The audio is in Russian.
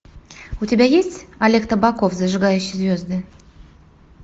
у тебя есть олег табаков зажигающий звезды